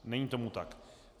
Není tomu tak.